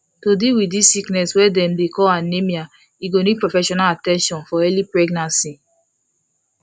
to deal wit this sickness wey dem dey call anemia e go need professional at ten tion for early pregnancy